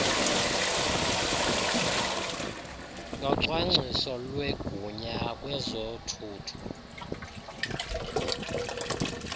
yocwangcwiso lwegunya kwezothutho